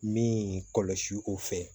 Min kɔlɔsi o fɛ